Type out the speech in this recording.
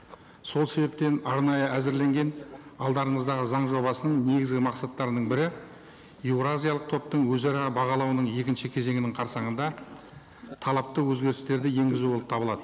сол себептен арнайы әзірленген алдарыңыздағы заң жобасының негізгі мақсаттарының бірі еуразиялық топтың өзара бағалауының екінші кезеңінің қарсаңында талапты өзгерістерді енгізу болып табылады